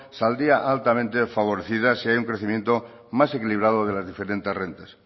saldría altamente favorecida si hay un crecimiento más equilibrado de las diferentes rentas